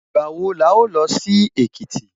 Ìgbà wo la ó lọ sí Èkìtì?